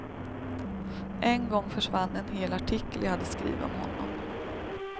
En gång försvann en hel artikel jag hade skrivit om honom.